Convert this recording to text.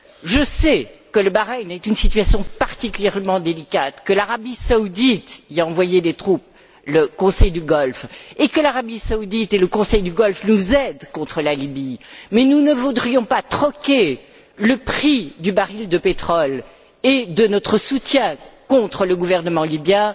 Je sais que le Bahreïn est une situation particulièrement délicate, que l'Arabie saoudite y a envoyé des troupes et que l'Arabie saoudite et le Conseil du Golfe nous aident contre la Libye, mais nous ne voudrions pas troquer le prix du baril de pétrole et de notre soutien contre le gouvernement libyen